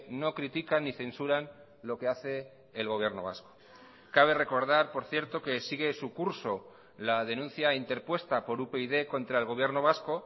no critican ni censuran lo que hace el gobierno vasco cabe recordar por cierto que sigue su curso la denuncia interpuesta por upyd contra el gobierno vasco